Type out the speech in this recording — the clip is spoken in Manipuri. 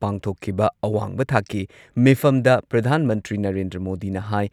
ꯄꯥꯡꯊꯣꯛꯈꯤꯕ ꯑꯋꯥꯡꯕ ꯊꯥꯛꯀꯤ ꯃꯤꯐꯝꯗ ꯄ꯭ꯔꯙꯥꯟ ꯃꯟꯇ꯭ꯔꯤ ꯅꯔꯦꯟꯗ꯭ꯔ ꯃꯣꯗꯤꯅ ꯍꯥꯏ